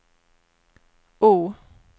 O